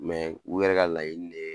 Mɛ u yɛrɛ ka layini ne ye